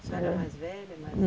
A senhora é mais velha?